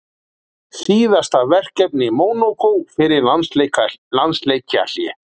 Síðasta verkefni Mónakó fyrir landsleikjahlé?